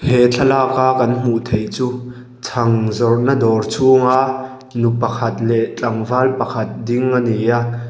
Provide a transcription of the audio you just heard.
he thlalak a kan hmuh theih chu chhang zawrhna dawr chhung a nu pakhat leh tlangval pakhat ding ani a.